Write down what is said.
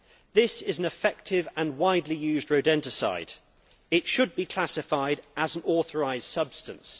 This is an effective and widely used rodenticide. It should be classified as an authorised substance.